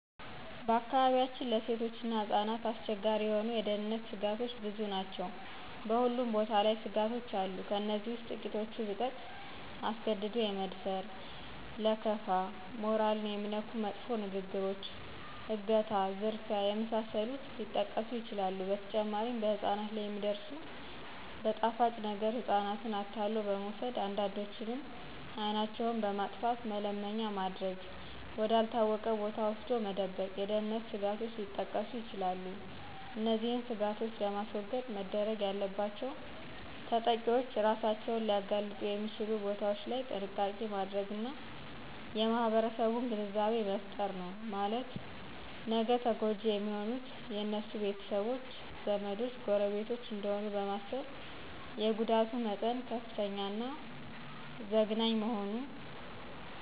በአካባቢያችን ለሴቶችና ህጻናት አስቸጋሪ የሆኑ የደህንነተ ስጋቶች ብዙ ናቸው በሁሉም ቦታ ላይ ስጋቶች አሉ ከእነዚህ ውስጥ ትቂቶቹን ብጠቅስ አስገድዶ የመድፈር :ለከፋ :ሞራልን የሚነኩ መጥፎ ንግግሮች :አገታ :ዝርፊያ የመሳሰሉት ሊጠቀሱ ይችላሉ በተጨማሪም በህጻናት ላይ የሚደርሱት በጣፋጭ ነገረ ህጻናትን አታሎ በመውሰድ አንዳንዶችንም አይናቸውን በማጥፋተ መለመኛ ማድረግ ወደ አልታወቀ ቦታ ወስዶ መደበቅ የደህንነት ስጋቶች ሊጠቀሱ ይችላሉ። እነዚህን ስጋቶች ለማስወገድ መደረግ ያለባቸውተጠቂዎች እራሳቸውን ሊያጋልጡ የሚችሉ ቦታዎች ላይ ጥንቃቄ ማድረግና የማህረሰቡን ግንዛቤ መፍጠር ነው ማለትም ነገ ተጎጅ የሚሆኑት የነሱ ቤተሰቦች :ዘመዶች :ጎረቤቶች እደሆኑ በማሰብ የጉዳቱ መጠን ከፍተኛና ዘግናኝ መሆኑ